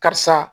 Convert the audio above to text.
Karisa